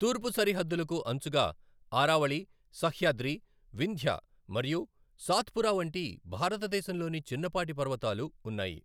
తూర్పు సరిహద్దులకు అంచుగా ఆరావళి, సహ్యాద్రి, వింధ్య మరియు సాత్పురా వంటి భారతదేశంలోని చిన్నపాటి పర్వతాలు ఉన్నాయి.